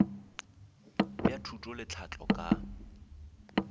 bja thuto le tlhahlo ka